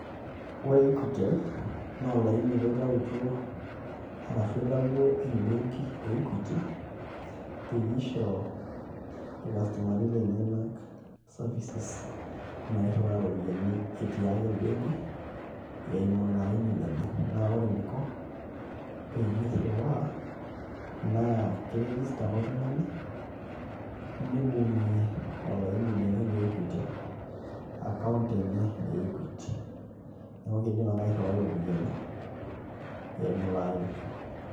Ore equitel naa olaini apa oitayutuo ashu oitawuo embenki e Equity peyie isho irkastomani lenyenak services nairriwaa iropiyiani etii ake embenki eimu ilo aini lenye, naa ore eniko peyie irriwaa naa kiregister ake oltung'ani nibung'ie olaini lenye le equitel account enye e Equity, neeku kiidim ake airriwai iropiyiani eimu ilo aini.